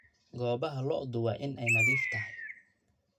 Goobaha lo'du waa inay nadiif ahaadaan.